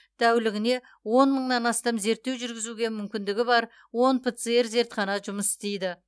тәулігіне он мыңнан астам зерттеу жүргізуге мүмкіндігі бар он пцр зертхана жұмыс істейді